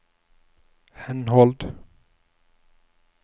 henhold